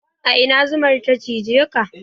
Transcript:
A ina zuman ya cijeka?